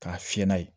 K'a fiyɛ n'a ye